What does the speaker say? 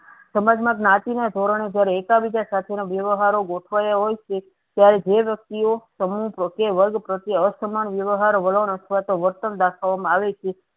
સમાજ માં જ્ઞાતિ ના ધોરણે જયારે એકા બીજા સાથેનો વ્યવહારો ગોઠવાયા હોયછે ત્યારે જે વ્યક્તિઓ સમૂહ પ્રત્યે વર્ગ પ્રત્યે અસમાન વ્યવહારો વલણ અથવાતો વર્તન દાખવામાં આવે છે.